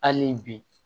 Hali bi